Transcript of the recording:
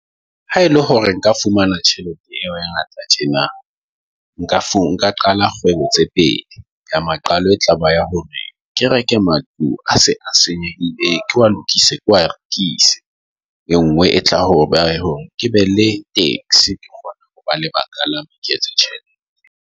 Ha ele hore nka fumana tjhelete eo e ngata tjena, nka nka qala kgwebo tse pedi. Ya maqalo, e tlaba ya hore kereke matlung a se a senyehile, e lokise ke wa e lokise e nngwe e tlang ho ba hore ke be le taxi ke lebaka la .